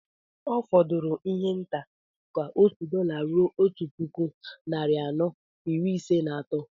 Ọ fọdụrụ ihe nta ka òtù dọla rụo Otu puku, narị anọ, iri Ise na atọ